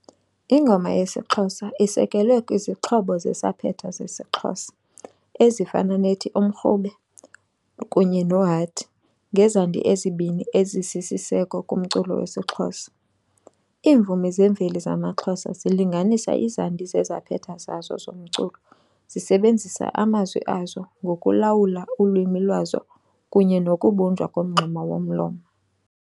Ingoma yesiXhosa isekelwe kwizixhobo zesaphetha zesiXhosa ezifana nethi 'umrhube' kunye 'nohadi' ngezandi ezibini ezisisiseko kumculo wesiXhosa. Iimvumi zemveli zamaXhosa zilinganisa izandi zezaphetha zazo zomculo zisebenzisa amazwi azo ngokulawula ulwimi lwazo kunye nokubunjwa komngxuma womlomo.